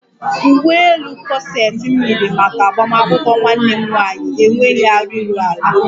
Uwe elu kọseti m yiri maka agbamakwụkwọ nwanne m nwaanyị enweghi arụ iru ala